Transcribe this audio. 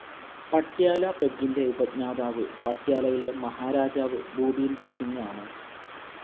പട്യാല പെഗ്ഗിൻ്റെ ഉപജ്ഞാതാവ് പട്യാലയിലെ മഹാരാജാ ഭൂപീന്ദർ സിംഗ് ആണ്.